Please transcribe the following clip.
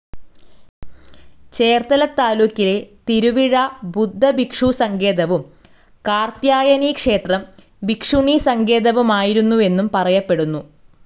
ചേർത്തല താലൂക്കിലെ തിരുവിഴ ബുദ്ധഭിക്ഷുസങ്കേതവും, കാർത്ത്യായനീക്ഷേത്രം ഭിക്ഷുണീസങ്കേതവുമായിരുന്നുവെന്നു പറയപ്പെടുന്നു.